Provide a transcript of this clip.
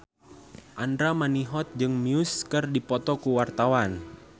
Andra Manihot jeung Muse keur dipoto ku wartawan